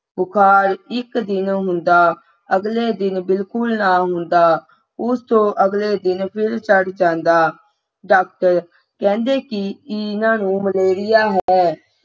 ਬੁਖਾਰ ਇੱਕ ਦਿਨ ਹੁੰਦਾ ਅਗਲੇ ਦਿਨ ਬਿਲਕੁਲ ਨਾ ਹੁੰਦਾ ਉਸ ਤੋਂ ਅਗਲੇ ਦਿਨ ਫਿਰ ਚੜ ਜਾਂਦਾ doctor ਕਹਿੰਦੇ ਕਿ ਨਹੀਂ ਇਹਨਾਂ ਨੂੰ malaria ਹੋਇਆ ਹੈ